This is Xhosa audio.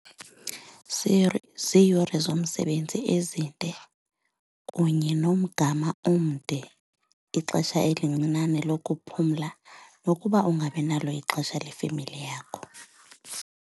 Ziiyure zomsebenzi ezinde kunye nomgama omde, ixesha elincinane lokuphumla nokuba ungabi nalo ixesha lefemeli yakho.